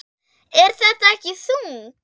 Er þetta ekki þungt?